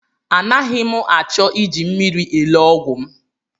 Anaghị m achọ iji mmiri elo ọgwụ m.